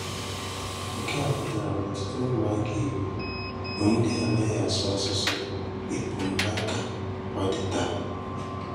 Nke a pụtara na ọ̀tụ̀tụ̀ ụmụ́aka Ìgbò bụ́ ndị ànàghị asụ̀ asụ̀sụ́ épum hà ka ọ dị tàà.